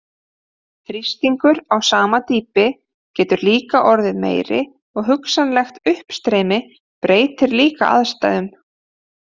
Þrýstingur á sama dýpi getur líka orðið meiri og hugsanlegt uppstreymi breytir líka aðstæðum.